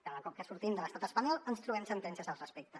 cada cop que sortim de l’estat espanyol ens trobem sentències al respecte